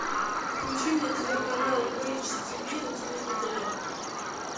включи мне телеканал бридж тиви на телевизоре